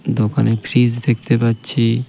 দোকানে ফ্রিজ দেখতে পাচ্ছি .